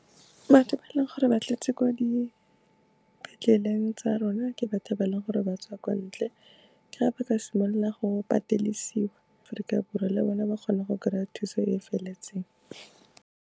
Batho ba e leng gore ba tletse kwa dipetleleng tsa rona, ke batho ba e le gore batswa kwa ntle, ke ga ba ka simolola go patedisiwa gore le bone ba kgone go kry-a thuso e e feletseng.